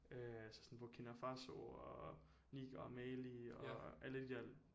Øh så sådan Burkina Faso og Niger og Mali og alle de der